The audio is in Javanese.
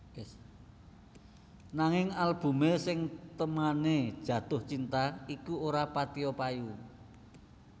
Nanging albumé sing témané Jatuh Cinta iku ora patiya payu